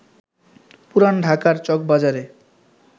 পুরান ঢাকার চকবাজারে